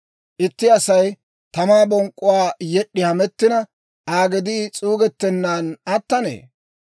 Itti Asay tamaa bonk'k'uwaa yed'd'i hamettina, Aa gedii s'uugettennan attanee?